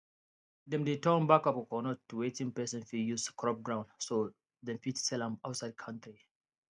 them de turn back of coconut to wetin person fit use scrub ground so them fit sell am outside country